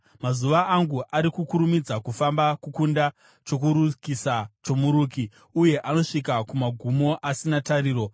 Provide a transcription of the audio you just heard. “Mazuva angu ari kukurumidza kufamba kukunda chokurukisa chomuruki, uye anosvika kumagumo asina tariro.